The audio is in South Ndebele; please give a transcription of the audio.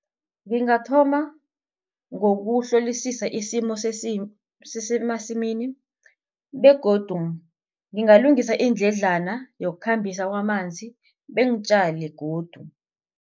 Ngingathoma ngokuhlolisisa isimo sesemasimini begodu ngingalungisa indledlana yokukhambisa kwamanzi beengitjale godu.